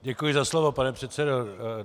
Děkuji za slovo, pane předsedo.